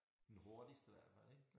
Den hurtigste hvert fald ik